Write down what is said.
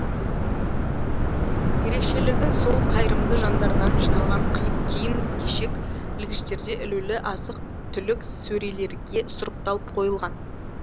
ерекшелігі сол қайырымды жандардан жиналған киім кешек ілгіштерде ілулі азық түлік сөрелерге сұрыпталып қойылған